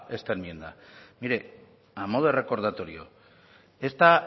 esta enmienda mire a modo de recordatorio